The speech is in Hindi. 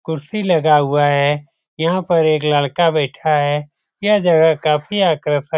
कुर्सी लगा हुआ है यहाँ पर एक लड़का बैठा है यह जगह काफ़ी आकर्षक --